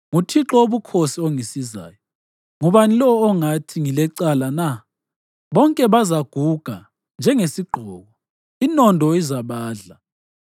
NguThixo Wobukhosi ongisizayo. Ngubani lowo ongathi ngilecala na? Bonke bazaguga njengesigqoko, inondo izabadla.